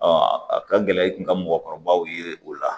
a ka gɛlɛ i kun ka mɔgɔkɔrɔbaw ye o la